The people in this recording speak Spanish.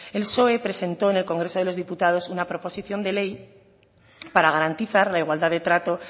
el psoe presentó en el congreso de los diputados una proposición de ley para garantizar la igualdad de trato